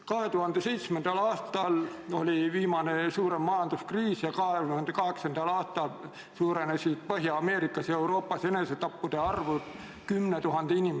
2007. aastal oli viimane suurem majanduskriis ja 2008. aastal suurenes Põhja-Ameerikas ja Euroopas enesetappude arv 10 000 võrra.